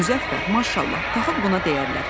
Müzəffər, maşallah, taxıl buna deyərlər.